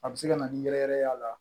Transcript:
A bɛ se ka na ni yɛrɛyɛrɛ ye a la